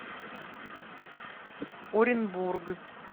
оренбург